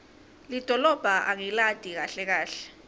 lidolobha angilati kahle kahle